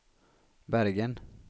Bergen